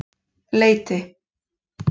Leiti